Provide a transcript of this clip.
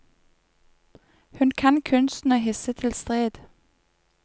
Hun kan kunsten å hisse til strid.